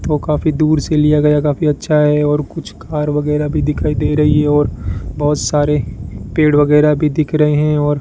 तो काफी दूर से लिया गया काफी अच्छा है और कुछ कार वगैरा भी दिखाई दे रही है और बहोत सारे पेड़ वगैरा भी दिख रहे हैं और --